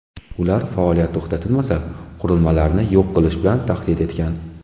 Ular faoliyat to‘xtatilmasa, qurilmalarni yo‘q qilish bilan tahdid etgan.